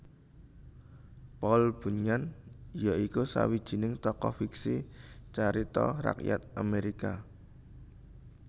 Paul Bunyan ya iku sawijining tokoh fiksi carita rakyat Amerika